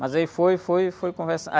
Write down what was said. Mas aí foi, foi, eu fui